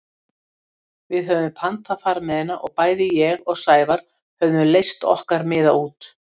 Við höfðum pantað farmiðana og bæði ég og Sævar höfðum leyst okkar miða út.